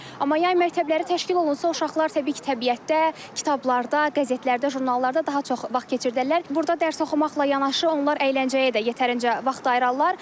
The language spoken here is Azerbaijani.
Amma yay məktəbləri təşkil olunsa, uşaqlar təbii ki, təbiətdə, kitablarda, qəzetlərdə, jurnallarda daha çox vaxt keçirdirlər, burda dərs oxumaqla yanaşı onlar əyləncəyə də yetərincə vaxt ayırarlar.